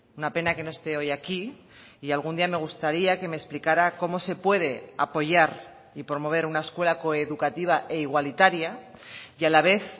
una pena que no esté hoy aquí y algún día me gustaría que me explicara cómo se puede apoyar y promover una escuela coeducativa e igualitaria y a la vez